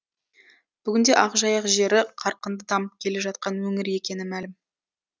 бүгінде ақжайық жері қарқынды дамып келе жатқан өңір екені мәлім